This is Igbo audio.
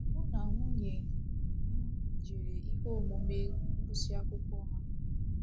Mụ na nwunye m jere ihe omume ngụsị akwụkwọ ha.